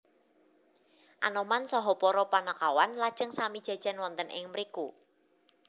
Anoman saha para Panakawan lajeng sami jajan wonten ing mriku